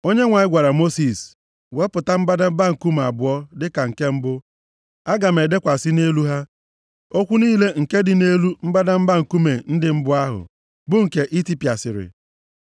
Onyenwe anyị gwara Mosis, “Wapụta mbadamba nkume abụọ dịka nke mbụ, aga m edekwasị nʼelu ha okwu niile nke dị nʼelu mbadamba nkume ndị mbụ ahụ, bụ nke ị tụpịasịrị.